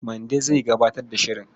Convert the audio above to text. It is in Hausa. Mande zai gabatar da shirin.